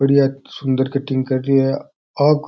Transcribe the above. बड़िया सुंदर कटिंग कर रो है आपका --